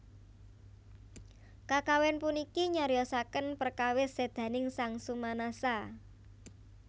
Kakawin puniki nyariyosaken prekawis sédaning sang Sumanasa